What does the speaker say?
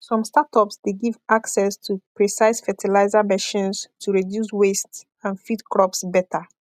some startups dey give access to precise fertilizer machines to reduce waste and feed crops better